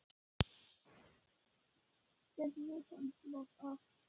Getum við höndlað það að vera á toppi deildarinnar?